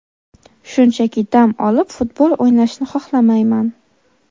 Shunchaki dam olib futbol o‘ynashni xohlamayman.